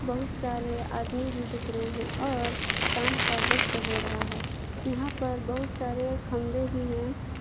बहुत सारे आदमी भी दिख रहे हैं और शाम का वक्त हो रहा है यहां पर बहुत सारे खंभे भी हैं।